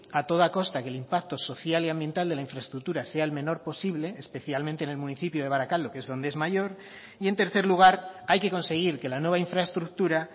a toda costa que el impacto social y ambiental de la infraestructura sea el menor posible especialmente en el municipio de barakaldo que es donde es mayor y en tercer lugar hay que conseguir que la nueva infraestructura